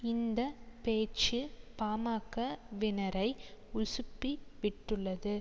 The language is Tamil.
இந்த பேச்சு பா ம க வினரை உசுப்பி விட்டுள்ளது